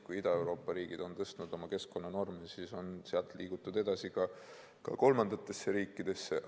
Kui Ida-Euroopa riigid on tõstnud oma keskkonnanorme, siis on sealt liigutud edasi kolmandatesse riikidesse.